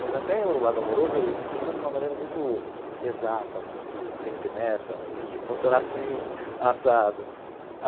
Mas até o lado amoroso, eu funciono de uma maneira muito exata, muito tem que ter meta, tem que funcionar assim, assado.